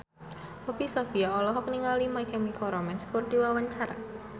Poppy Sovia olohok ningali My Chemical Romance keur diwawancara